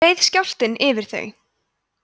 reið skjálftinn yfir þau